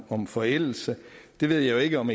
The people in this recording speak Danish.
om forældelse jeg ved jo ikke om